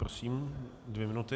Prosím, dvě minuty.